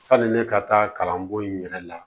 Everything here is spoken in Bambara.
Sani ne ka taa kalanko in yɛrɛ la